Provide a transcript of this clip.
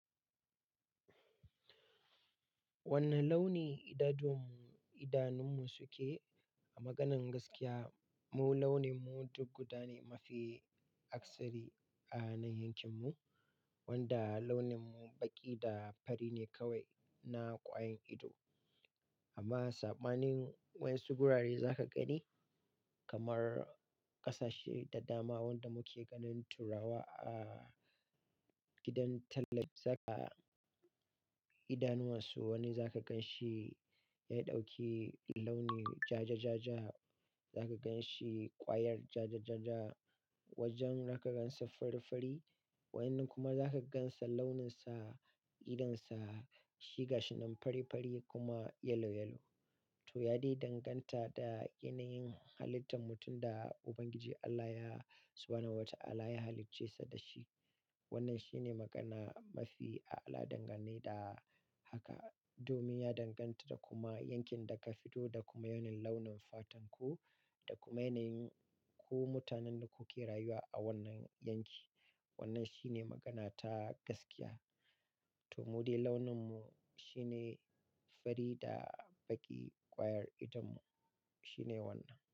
Wanne launi idanunmu suke? A maganan gaskiya, mu launinmu duk guda ne mafi aksari a nan yankinmu, wanda launinmu baƙi da fari ne kawai na kwayar ido. Amma sabanin wainsu gurare za ka gani, kamar ƙasashe da dama wanda muke ganin turawa a gidan idanuwansu wani za ka gan shi ya ɗauki launi ja, za ka gan shi kwayar ja, wajen za ka gansa fari-fari, wanin kuma za ka gansa launinsa, idonsa, shiga shi nan fari-fari kuma yalo-yalo. To, ya dai danganta da yanayin halittar mutum da Ubangiji Allah ya Subhanahu Watahala ya halicce da shi. Wannan shi ne magana mafi a'ala dangan ne da haka. Domin ya danganta da kuma yankin da ka fito da kuma yanayin launin fatan ku da kuma yanayin ku mutanen da kuke rayuwa a wannan yanki. Wannan shi ne magana ta gaskiya. To, mu dai launinmu shi ne fari da baƙi. Kwayar idonmu shi ne wannan.